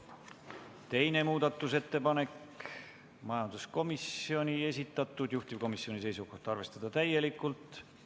Ka teine muudatusettepanek on majanduskomisjoni esitatud, juhtivkomisjoni seisukoht on arvestada seda täielikult.